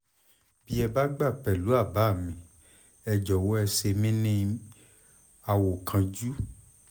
bí ẹ bá gbà pẹ̀lú àbá mi ẹ jọ̀wọ́ ẹ ṣe mí ní àwòkọ́njú